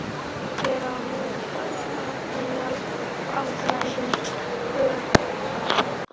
Hver á að leiðrétta æðsta handhafa alræðis öreiganna?